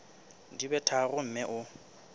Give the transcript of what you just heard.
di be tharo mme o